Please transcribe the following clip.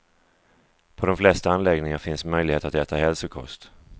På de flesta anläggningar finns möjlighet att äta hälsokost.